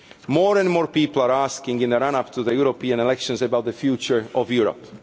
More and more people are asking in the run up to the European elections about the future of Europe.